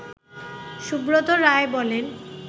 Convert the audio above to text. সুব্রত রায় বলেন